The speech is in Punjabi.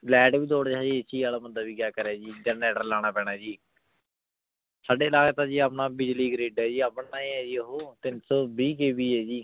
ਲਾਇਟ ਵੀ ਥੋਰ ਹੈ ਜੀ AC ਵਾਲਾ ਬੰਦਾ ਵੀ ਕਿਆ ਕਰੇ ਜੀ generator ਲਾਨਾ ਪੀਨਾ ਜੀ ਆਪਣਾ ਬਿਜਲੀ ਗ੍ਰਿਡ ਹੈ ਜੀ ਆਪਣਾ ਈ ਆਯ ਜੀ ਊ ਤੀਨ ਸੋ ਵੀ KV ਆਯ ਜੀ